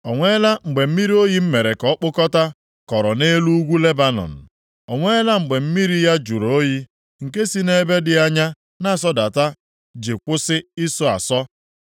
O nweela mgbe mmiri oyi m mere ka ọ kpụkọtaa kọrọ nʼelu ugwu Lebanọn? O nweela mgbe mmiri ya jụrụ oyi, nke si nʼebe dị anya na-asọdata ji akwụsị ịsọ asọ?